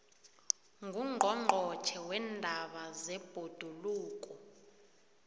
ngungqongqotjhe weendaba zebhoduluko